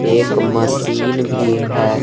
एक मसीन भी है।